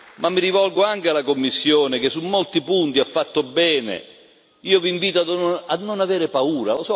ma mi rivolgo anche alla Commissione che su molti punti ha fatto bene io vi invito a non avere paura.